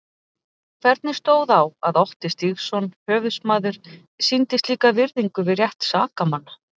Hvernig stóð á að Otti Stígsson höfuðsmaður sýndi slíka virðingu við rétt sakamanna?